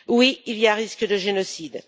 Oui, il y a un risque de génocide.